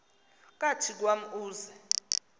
kathi kwam uze